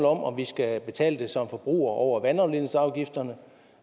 om om vi skal betale det som forbrugere over vandafledningsafgifterne